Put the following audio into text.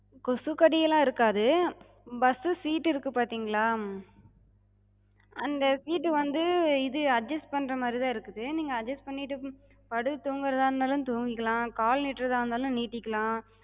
கொசுக்கடி எல்லா இருக்காது. bus சு seat டு இருக்கு பாத்திங்களா, அந்த seat டுவந்து இது adjust பண்ற மாரிதா இருக்குது. நீங்க adjust பண்ணிட்ட படுத்துத் தூங்குறதா இருந்தாலு தூங்கிக்கலா, கால் நீட்டுறதா இருந்தாலு நீட்டிக்கலா.